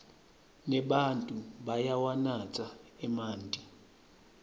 nebatfu bayawanatsa emanti